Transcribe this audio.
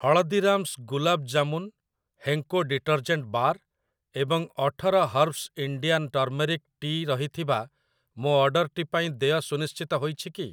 Haldiram's gulab jamun, Henko detergent bar ଏବଂ ଅଠର herbs Indian turmeric ଟି ରହିଥିବା ମୋ ଅର୍ଡ଼ର୍‌‌ଟି ପାଇଁ ଦେୟ ସୁନିଶ୍ଚିତ ହୋଇଛି କି?